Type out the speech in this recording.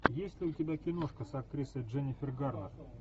есть ли у тебя киношка с актрисой дженнифер гарнер